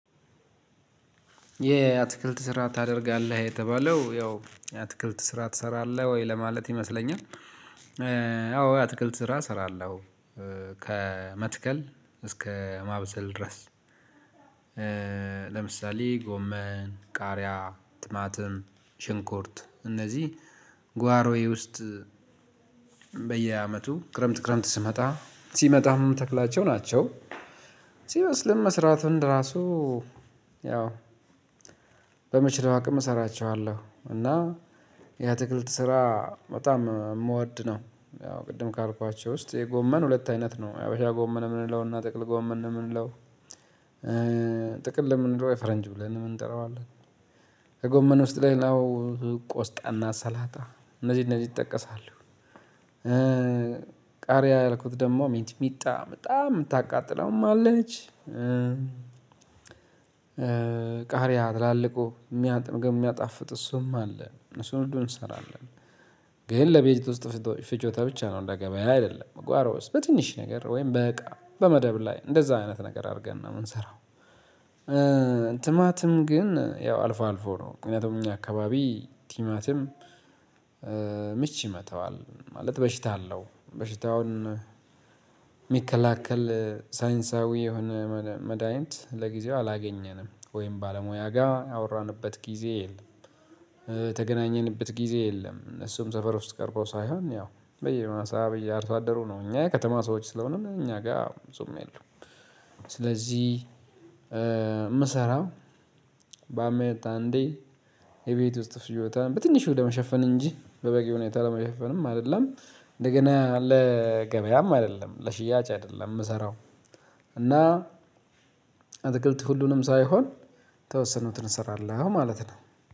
የአትክልት ስራ ታደርጋለህ የተባለው ያው አትክልት ስራ ትሰራለህ ወይ ለማለት ይመስለኛል? አዎ የአትክልት ስራ ስራለው ከመትከል እስከ ማብሰል ድረስ። ለምሳሌ ጎመን ቃሪያ ትማትም ሽንኩርት እነዚህ ጓሮዬ ውስጥ በየአመቱ ክረምት ክረምት ስመጣ ሲመጣ ምተክላቸው ናቸው። ሲበስልም መስራት እንደራሱ ያው በመችለው አቅም ልሰራ እችላለሁ። እና የአትክልት ስራ በጣም የምወድ ነው። ያው ቅድም ካልኳቸው ውስጥ የጎመን ሁለት አይነት ነው የአበሻ ጎመን የምንለውና ጥቅል ጎመን ነው የምንለው። ጠቅል የምንለው የፈረንጅ ብለንም እንጠራዋለን። ከጎመን ውስጥ ሌላው ቆስጣና ሰላጣ እነዚህ እነዚህ ይጠቀሳሉ። ቃሪያ ያልኩት ደግሞ ሚጥሚጣ በጣም የምታቃጥለውም አለች። ቃሪያ ትላልቁ ምግብ የሚያጣፍጥ እሱም አለ እሱን እንደው እንሰራለን። ግን ለቤት ውስጥ ፍጆታ ብቻ ነው እንደ ገበያ አይደለም። በጓሮ ውስጥ በትንሽ ነገር ወይም በቃ በመደብ ላይ እንደዛ አይነት ነገር አድርገን ነው የምንሰራው። ትማትም ግን ያው አልፎ አልፎ ነው። ምክንያቱም እኛ አካባቢ ቲማቲም ምች ይመተዋል ማለት በሽታ አለው በሽታውን ሚከለክል ሳይንሳዊ የሆነ መድሃኒት ለጊዜው አላገኘንም። ወይም ባለሙያ ጋር ያወራንበት ጊዜ የለም የተገናኘንበት ጊዜ የለም። እነሱም ሰፈር ውስጥ ቀርበው ሳይሆን ያው በየመሳ በየአርሶአደሩ ነው እኛ የከተማ ሰዎች ስለሆንን እኛ ጋር ብዙም የለም። ስለዚህ ምሰራው በአመት አንዴ የቤት ውስጥ ፍጆታን በትንሹ ለመሸፈን እንጂ በበቂ ሁኔታ ለመሸፈንም አይደለም። እንደገና ለገበያም አይደለም ለሽያጭ አይደለም የምሰራው። እና አተክልት ሁሉንም ሳይሆን የተወሰኑትን እንሰራለን ማለት ነው።